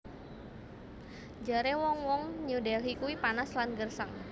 Jare wong wong New Delhi kui panas lan gersang